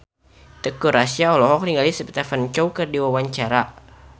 Teuku Rassya olohok ningali Stephen Chow keur diwawancara